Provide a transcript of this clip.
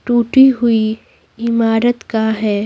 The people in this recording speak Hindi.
टूटी हुई इमारत का है।